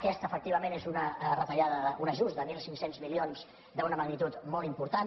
aquesta efectivament és una retallada un ajust de mil cinc cents milions d’una magnitud molt important